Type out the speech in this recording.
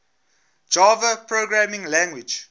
java programming language